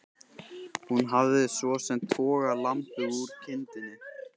Hún hafði svo sem togað lambið úr kindinni.